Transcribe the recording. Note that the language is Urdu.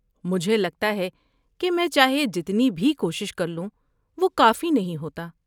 مجھے لگتا ہے کہ میں چاہے جتنی بھی کوشش کر لوں، وہ کافی نہیں ہوتا۔